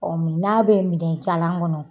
Ɔ n'a bɛ minɛnjalan kɔnɔ